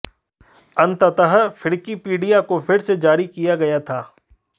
अंततः फ्रिकिपिडिया को फिर से जारी किया गया था